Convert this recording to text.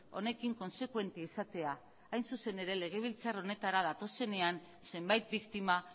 honekin kontsekuente izatea hain zuzen ere legebiltzar honetara datozenean zenbait biktima